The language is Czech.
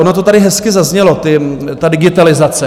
Ono to tady hezky zaznělo, ta digitalizace.